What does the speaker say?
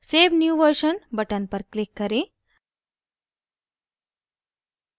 save new version button पर click करें